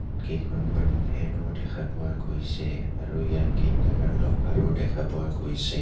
কেইখনমান ফেন ও দেখা পোৱা গৈছে আৰু ইয়াত কেইটামান ল'কাৰ ও দেখা পোৱা গৈছে.